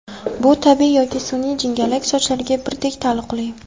Bu tabiiy yoki sun’iy jingalak sochlarga birdek taalluqli.